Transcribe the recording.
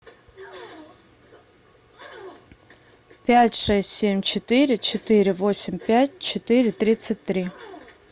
пять шесть семь четыре четыре восемь пять четыре тридцать три